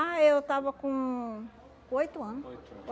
Ah, eu tava com com oito ano. Oito anos